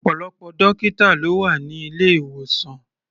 Ọ̀pọ̀lọpọ̀ dọ́kítà ló wà ní ilé-ìwòsàn.